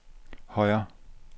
højre